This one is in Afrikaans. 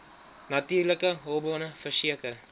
natuurlike hulpbronne verseker